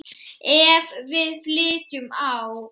Ef við flytjum á